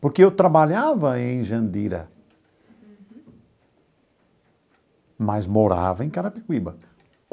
Porque eu trabalhava em Jandira, mas morava em Carapicuíba.